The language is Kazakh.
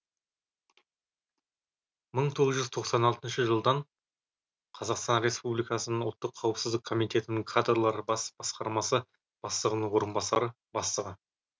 мың тоғыз жүз тоқсан алты жылдан қазақстан республикасының ұлттық қауіпсіздік комитетінің кадрлар бас басқармасы бастығының орынбасары бастығы